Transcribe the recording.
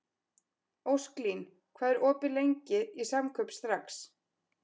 Ósklín, hvað er opið lengi í Samkaup Strax?